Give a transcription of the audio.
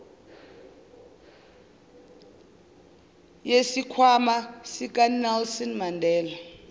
yesikhwama sikanelson mandela